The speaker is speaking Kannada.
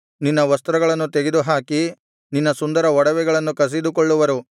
ನಿನ್ನ ವಸ್ತ್ರಗಳನ್ನು ತೆಗೆದುಹಾಕಿ ನಿನ್ನ ಸುಂದರ ಒಡವೆಗಳನ್ನು ಕಸಿದುಕೊಳ್ಳುವರು